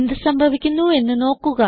എന്ത് സംഭവിക്കുന്നു എന്ന് നോക്കുക